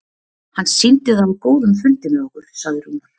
Hann sýndi það á góðum fundi með okkur, sagði Rúnar.